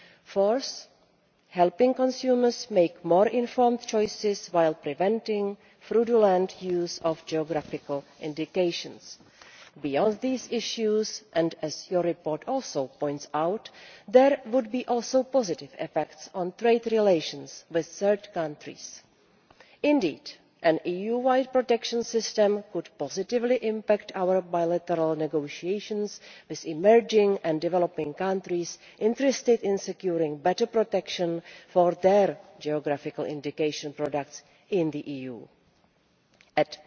Fourth, helping consumers make more informed choices while preventing fraudulent use of geographical indications. Beyond these issues and as your report also points out, there would be positive effects on trade relations with third countries too. Indeed, an EU wide protection system could positively impact our bilateral negotiations with emerging and developing countries interested in securing better protection for their geographical indication products in the EU.